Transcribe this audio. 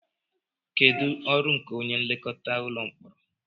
Kedu ọrụ nke onye nlekọta ụlọ mkpọrọ